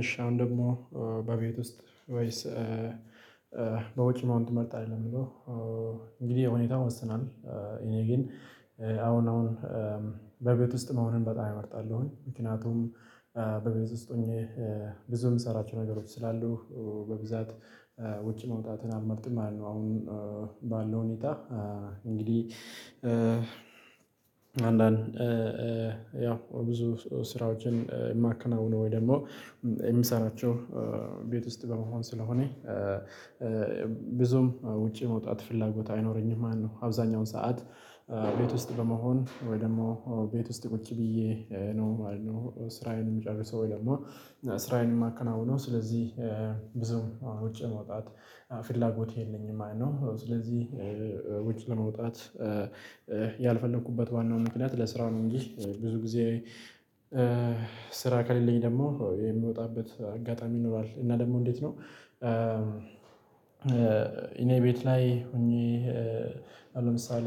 እሺ አሁን ደግሞ በቤት ውስጥ ወይስ? በውጭ መሆን ትመርጣለህ ለየምለው። እንግዲህ ሁኔታው ይወስናል። እኔ ግን አሁን አሁን በቤት ውስጥ መሆንን በጣም እመርጣለሁኝ ምክንያቱም። በቤት ውስጥ ሆኜ ብዙ የምሰራቸው ነገሮች ስላሉ። በብዛት ውጭ መውጣትን አምልመርጥ ማለት ነው። አሁን ባለው ሁኔታ እንግዲህ አንዳንድ ያው ብዙ ስራዎችን የማከናውነው ወይ ደግሞ የሚሰራቸው ቤት ውስጥ በመሆን ስለሆነ። ብዙም ውጪ መውጣት ፍላጎት አይኖረኝም ማለት ነው። አብዛኛውን ሰዓት ቤት ውስጥ በመሆን ወይ ደግሞ ቤት ውስጥ ቁጭ ብዬ ነው ማለት ነው። ስራዬን የሚጨርሰው ወይ ደግሞ ስራዬን የማከናውነው ስለዚህ ውጭ መውጣት ፍላጎት የለኝም። አይኖ ስለዚህ ውጭ ለመውጣት ያልፈለኩበት ዋናው ምክንያት ለስራው ነው። እንጂ ብዙ ጊዜ ስራ ከሌለኝ ደግሞ የምወጣበት አጋጣሚ ኖሯል እና ደግሞ እንዴት ነው? እኔ ቤት ላይ ሆኜ ለምሳሌ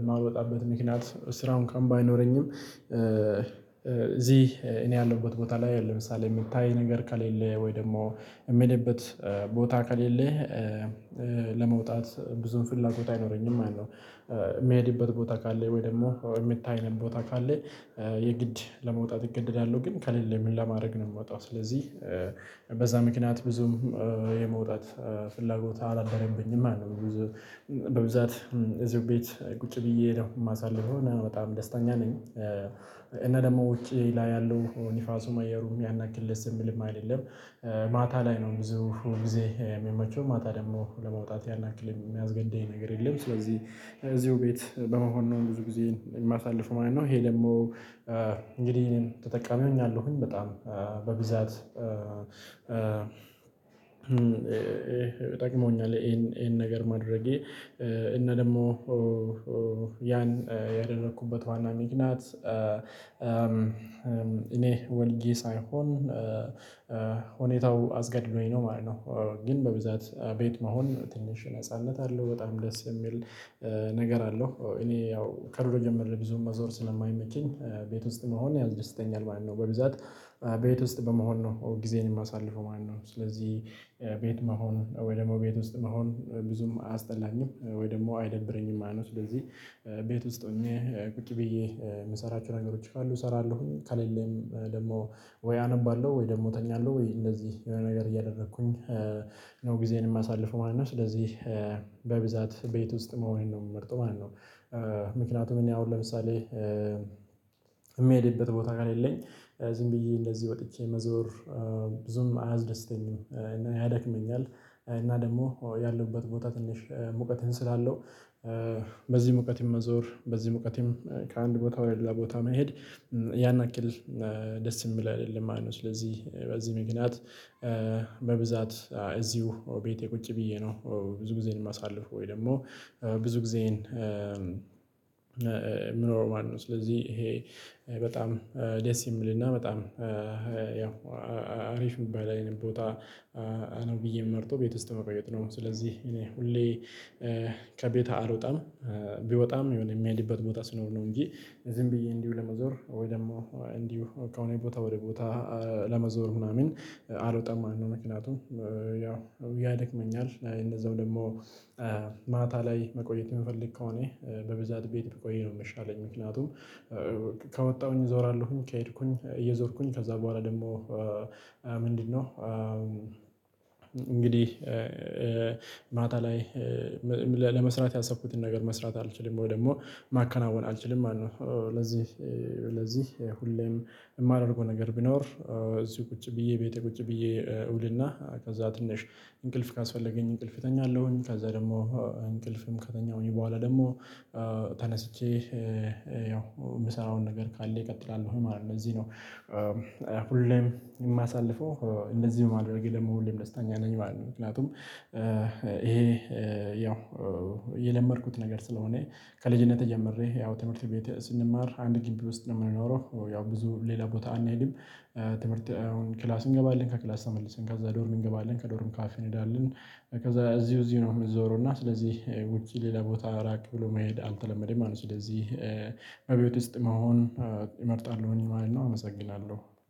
የማልወጣበት ምክንያት ስራው እንኩዋን ባይኖረኝም እዚህ እኔ ያለሁበት ቦታ ላይ ለምሳሌ የምታይ ነገር ከሌለ ወይ ደግሞ የሚሄድበት ቦታ ከሌለህ። ለመውጣት ብዙም ፍላጎት አይኖረኝም አይደለም የሚሄድበት ቦታ ካለ ወይ ደግሞ የሚታይንም ቦታ ካለ የግድ ለመውጣት እገደዳለሁ። ግን ከሌለ ምን ለማድረግ ነው የምወጣው? ስለዚህ በዛ ምክንያት ብዙም የመውጣት ፍላጎት አላደረብኝም አለው። በብዛት እዚህ ቤት ቁጭ ብዬ ነው የማሳልፍ የሆነ በጣም ደስተኛ ነኝ። እና ደግሞ ውጪ ላይ ያለው ንፋሱም አየሩም የሚያናክል ደስ የምልም አይደለም። ማታ ላይ ነው ብዙ ሁል ጊዜ የሚመቸው ማታ ደግሞ ለመውጣት ያናክል የሚያዝገድደኝ ነገር የለም። ስለዚህ እዚሁ ቤት በመሆን ነው ብዙ ጊዜ የማሳልፈው ማለት ነው። ይሄ ደግሞ እንግዲህ ተጠቃሚ ሆኛለሁኝ በጣም በብዛት ጠቅሞኛል። ይሄን ነገር ማድረጌ እና ደግሞ ያን ያደረኩበት ዋና ምክንያቱም እኔ ወልጄ ሳይሆን ሁኔታው አስገድዶኝ ነው ማለት ነው። ግን በብዛት ቤት መሆን ትንሽ ነጻነት አለው በጣም ደስ የሚል ነገር አለው። እኔ ያው ከድሮ ጀምረ ብዙም መዞር ስለማይመቸኝ ቤት ውስጥ መሆን ያስደስተኛል ማለት ነው። በብዛት ቤት ውስጥ በመሆን ነው ጊዜን የማሳልፈው ማለት ነው። ስለዚህ ቤት መሆን ወይ ደግሞ ቤት ውስጥ መሆን ብዙም አያስጠላኝም ወይ ደግሞ አይደብረኝም ማለት ነው። ስለዚህ ቤት ውስጥ ሆኜ ቁጭ ብዬ የምሰራቸው ነገሮች ካሉ እሰራለሁኝ። ከሌለም ደግሞ ወይ አነባለሁ ወይ ደግሞ እተኛለሁ ወይ እንደዚህ የሆነ ነገር እያደረኩኝ ነው ጊዜዬን የማሳልፈው ማለት ነው። ስለዚህ በብዛት ቤት ውስጥ መሆን ነው የምመርጠው ማለት ነው። ምክንያቱም እኔ አሁን ለምሳሌ የሚሄድበት ቦታ ከሌለኝ ዝም ብዬ እንደዚህ ወጥቼ መዞር ብዙም አያስደስተኝም። ያደክመኛል እና ደግሞ ያለሁበት ቦታ ትንሽ ሙቀትህን ስላለው። በዚህ ሙቀት መዞር በዚህ ሙቀት ከአንድ ቦታ ወይ ለሌላ ቦታ መሄድ ያን ያክል ደስ የምል አይደለም ማለት ነው። ስለዚህ በዚህ ምክንያት በብዛት እዚሁ ቤቴ ቁጭ ብዬ ነው። ብዙ ጊዜን የማሳልፍ ወይ ደግሞ ብዙ ጊዜን የምኖረው ማነው ስለዚህ ይሄ በጣም ደስ የሚልና በጣም ያው አሪፍ የሚባል አይነት ቦታ። ነው ብዬ የምመርጠው ቤት ውስጥ ቤት ነው ስለዚህ እኔ ሁሌ ከቤት አልወጣም። ቢወጣም የሆነ የሚሄድበት ሲኖር ነው እንጂ ዝም ብዬ እንዲሁ ለመዞር ወይ ደግሞ እንዲሁ ከሆነ ቦታ ወደ ቦታ ለመዞር ምናምን አልወጣም ማለት ነው። ምክንያቱም ያው ያደክመኛል። እነዛው ደግሞ ማታ ላይ መቆየት የምፈልግ ከሆነ በብዛት ቤት ብቆይ ነው። የምሻለኝ ምክንያቱም ከወጣሁኝ እዞራለሁኝ ከሄድኩኝ እየዞርኩኝ ከዛ በኋላ ደግሞ ምንድነው? እንግዲህ ማታ ላይ ለመስራት ያሰብኩትን ነገር መስራት አልችልም ወይ ደግሞ ማከናወን አልችልም ማለት ነው። ለዚህ ለዚህ ሁሌም የማደርገው ነገር ቢኖር እዚህ ቁጭ ብዬ ቤቴ ቁጭ ብዬ እውልና ከዛ ትንሽ እንቅልፍ ካስፈለገኝ እንቅልፍ እተኛለሁኝ ከዛ ደግሞ እንቅልፍም ከተኛሁኝ በኋላ ደግሞ ተነስቼ የምሰራውን ነገር ካለ እቀጥላለሁ ማለት ነው እዚህ ነው። ሁሌም የማሳልፈው እንደዚህ በማድረጌ ደግሞ ሁሌም ደስታኛ ነኝ ማለት ነው። ምክንያቱም ይሄ ያው የለመድኩት ነገር ስለሆነ ከልጅነቴ ጀምሬ ያው ትምህርት ቤት ስንማር አንድ ግቢ ውስጥ ነው የምንኖረው ያው ብዙ ሌላ ቦታ አንሄድም። ትምህርት አሁን ክላስ እንገባለን ከክላስ ተመልሰን ጋዛ ዶርም እንገባለን ከዶርም ካፌን እንሄዳለን። ከዛ እዚሁ እዚሁ ነው የምንዞረው እና ስለዚህ ውጭ ሌላ ቦታ ራቅ ብሎ መሄድ አልተለመደም አለ። ስለዚህ እቤት ውስጥ መሆን እመርጣሉ ማለት ነው። አመሰግናለሁ